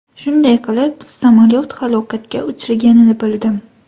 Shunday qilib, samolyot halokatga uchraganini bildim.